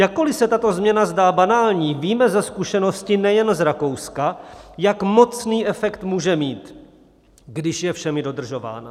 Jakkoliv se tato změna zdá banální, víme ze zkušenosti nejen z Rakouska, jak mocný efekt může mít, když je všemi dodržována.